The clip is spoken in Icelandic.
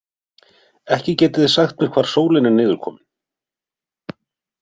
Ekki getiði sagt mér hvar sólin er niðurkomin.